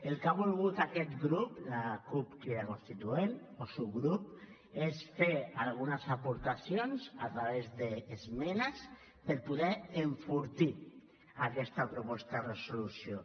el que ha volgut aquest grup la cup crida constituent o subgrup és fer algunes aportacions a través d’esmenes per poder enfortir aquesta proposta de resolució